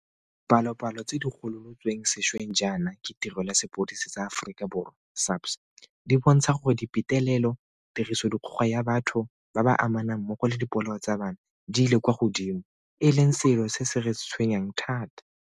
Dipalopalo tse di gololotsweng sešweng jaana ke Tirelo ya Sepodisi sa Aforika Borwa SAPS di bontsha gore dipetelelo, tirisodikgoka ya batho ba ba amanang mmogo le dipolao tsa bana di ile kwa godimo, e leng selo se se re tshwenyang thata.